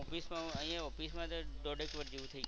Office માં તો અહિયાં ઓફિસ માં તો દોઢેક વર્ષ જેટલું થઈ ગયું.